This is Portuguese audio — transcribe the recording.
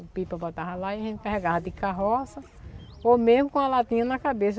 O Pipa botava lá e a gente carregava de carroça ou mesmo com a latinha na cabeça.